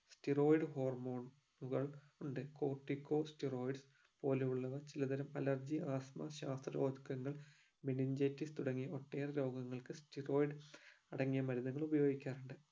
steroid hormone ഉകൾ ഉണ്ട് cortico stedoid പോലെയുള്ളവ ചിലതരം alergy ആസ്ത്മ ശാസ്തറോസ്‌കങ്ങൾ mintagesic തുടങ്ങിയവ ഒട്ടേറെ രോഗങ്ങൾക് steroid അടങ്ങിയ മരുന്നുകൾ ഉപയോഗിക്കാറുണ്ട്